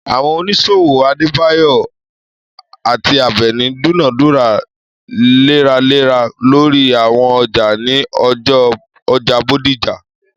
Àwọn oníṣòwò Adébáyọ̀ àti Àbẹ̀ní dúnàádúrà léraléra lórí àwọn ọjà ní ọjà Bódìjà.